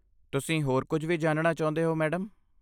ਤੁਸੀਂ ਹੋਰ ਕੁਝ ਵੀ ਜਾਣਨਾ ਚਾਹੁੰਦੇ ਹੋ, ਮੈਡਮ?